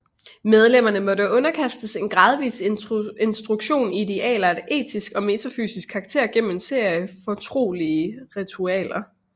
Medlemmerne måtte underkastes en gradvis instruktion i idealer af etisk og metafysisk karakter gennem en serie fortrolige ritualer